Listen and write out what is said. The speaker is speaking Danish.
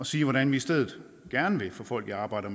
sige hvordan vi i stedet gerne vil få folk i arbejde